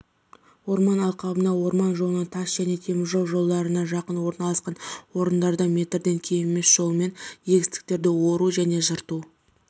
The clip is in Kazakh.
орман алқабына орман жолына тас және теміржол жолдарына жақын орналасқан орындарда метрден кем емес жолымен егістіктерді ору және жырту